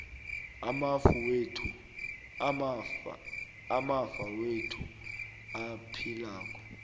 amafa wethu aphilako